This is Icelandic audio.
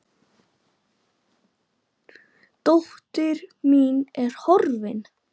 Dóttir mín er horfin.